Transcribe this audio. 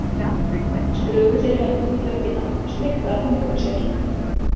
Struku þeir höndum í döggina og sleiktu af fingrum sér.